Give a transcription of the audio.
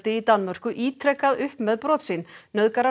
í Danmörku ítrekað upp með brot sín nauðgarar